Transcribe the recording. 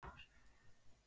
Ef svo er í hvaða mæli?